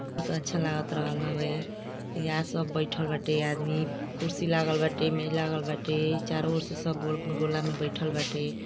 अच्छा लगात रहल हवे यहाँ सब बैठल वाटे आदमी कुर्सी लागल बाटे मेज लगल बाटे चारो और से सब गोला में बैठल वाटे।